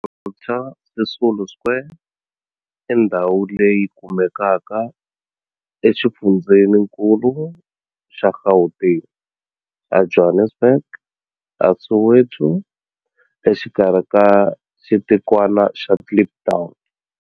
Walter Sisulu Square i ndhawu leyi kumekaka exifundzheninkulu xa Gauteng, Johannesburg, a Soweto, exikarhi ka xitikwana xa Kliptown.